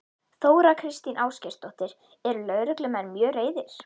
Þóra Kristín Ásgeirsdóttir: Eru lögreglumenn mjög reiðir?